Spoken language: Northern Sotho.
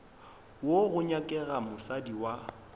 wo go nyakega mosadi wa